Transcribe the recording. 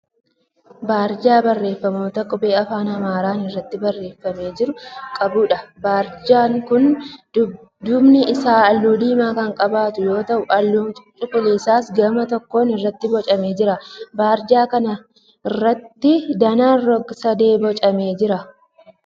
Barjaa barreeffamoota qubee afaan Amaaraan irratti barreeffamee jiru qabuudha. Barjaan kun duubi isaa halluu diimaa kan qabaatu yoo ta'u halluun cuquliisaas gama tokkon irratti boocamee jira. Barjaa kana irratti danaan roga sadee boocamee jira.